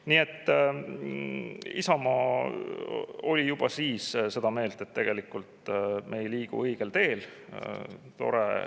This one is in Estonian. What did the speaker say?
Nii et Isamaa oli juba siis seda meelt, et tegelikult me ei liigu õigel teel.